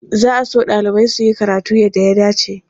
Za a so ɗalibai su yi karatu yadda ya dace.